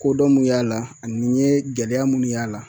Kodɔn mun y'a la ani n ye gɛlɛya minnu y'a la